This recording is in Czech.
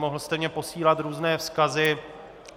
Mohl jste mi posílat různé vzkazy.